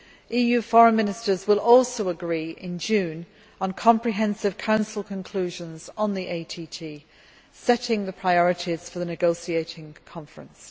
EU Foreign Ministers will also agree in June on comprehensive Council conclusions on the ATT, setting the priorities for the negotiating conference.